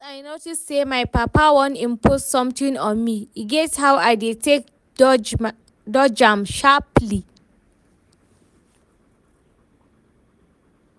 Once I notice say my papa wan impose something on me, e get how I dey take dodge am sharpaly